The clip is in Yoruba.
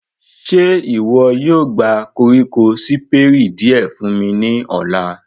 Ṣe iwọ yóò gba koriko Siperi diẹ fun mi ni ọla?